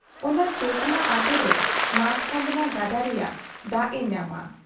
ᱚᱱᱟ ᱛᱮᱸᱛᱞᱟ ᱟᱛ ᱫᱚ ᱢᱟᱪᱷ ᱠᱟᱸᱫᱽᱱᱟ ᱜᱟᱰᱟ ᱨᱮᱭᱟᱜ ᱫᱟᱜ ᱮ ᱧᱟᱢᱟ ᱾